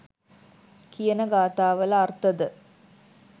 කියන ගාථාවල අර්ථද